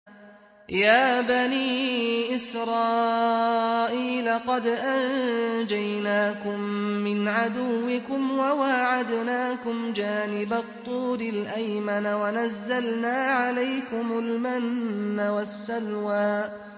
يَا بَنِي إِسْرَائِيلَ قَدْ أَنجَيْنَاكُم مِّنْ عَدُوِّكُمْ وَوَاعَدْنَاكُمْ جَانِبَ الطُّورِ الْأَيْمَنَ وَنَزَّلْنَا عَلَيْكُمُ الْمَنَّ وَالسَّلْوَىٰ